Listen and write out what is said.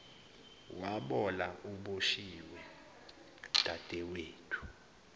wabola uboshiwe dadewethu